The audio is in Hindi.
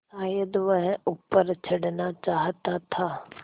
शायद वह ऊपर चढ़ना चाहता था